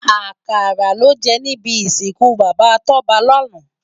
Akàrá lò jè nibi isinkú Baba Toba làná